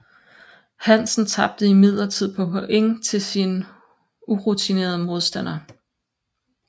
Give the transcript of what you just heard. Hansen tabte imidlertid på point til sin urutinerede modstander